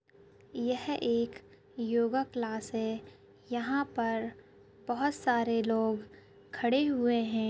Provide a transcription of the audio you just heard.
यह एक योगा क्लास है यहाँ पर बहोत सारे लोग खड़े हुए है।